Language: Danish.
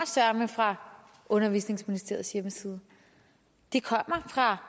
fra undervisningsministeriets hjemmeside de kommer fra